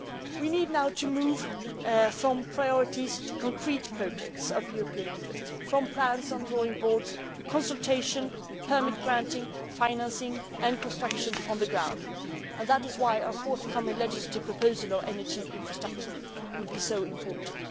We need now to move from priorities to concrete projects of European interest, from plans on drawing boards to consultation, permit granting, financing and construction on the ground, and that is why our forthcoming legislative proposal on energy infrastructure will be so important.